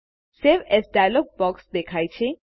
save as dialog box દેખાય છે